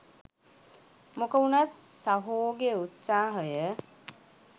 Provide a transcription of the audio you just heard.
මොක උනත් සහෝගේ උත්සහය